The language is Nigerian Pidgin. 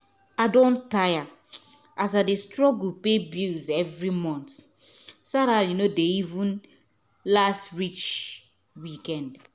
i don tire as i dey struggle pay bills every month — salary no dey even last reach week end.